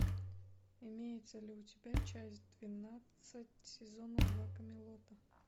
имеется ли у тебя часть двенадцать сезона два камелота